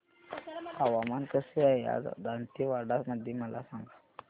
हवामान कसे आहे आज दांतेवाडा मध्ये मला सांगा